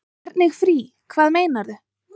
Hvernig frí. hvað meinarðu?